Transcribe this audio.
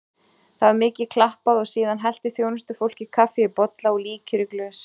Það var mikið klappað og síðan hellti þjónustufólkið kaffi í bolla og líkjör í glös.